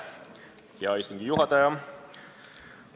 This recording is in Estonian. Hea istungi juhataja!